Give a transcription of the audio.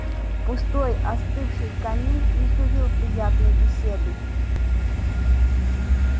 пустой остывший камин не сулил приятной беседы